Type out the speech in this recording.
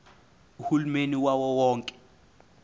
uhulumeni wawo wonke